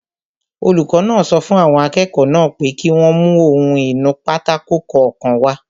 Olùkọ́ náà sọ fún àwọn akẹ́kọ̀ọ́ náà pé kí wọ́n mú ohun-ìnúpátákó kọ̀ọ̀kan wá